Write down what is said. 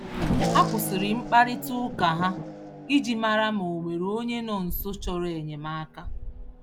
Ha kwụsịrị mkparita ụka ha iji màrà ma, onwere onye nọ nso chọrọ enyemaka.